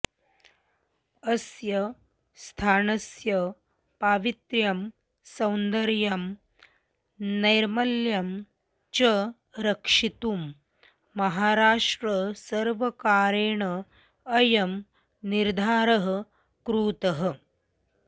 अस्य स्थानस्य पावित्र्यं सौन्दर्यं नैर्मल्यं च रक्षितुं महाराष्ट्रसर्वकारेण अयं निर्धारः कृतः